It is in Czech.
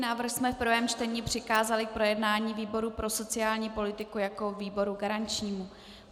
Návrh jsme v prvém čtení přikázali k projednání výboru pro sociální politiku jako výboru garančnímu.